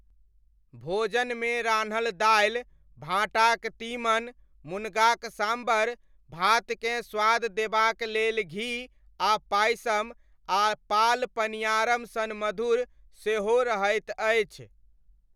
भोजनमे रान्हल दालि, भाँटाक तीमन, मुनगाक साम्बर, भातकेँ स्वाद देबाक लेल घी आ पायसम आ पाल पनियारम सन मधुर सेहो रहैत अछि।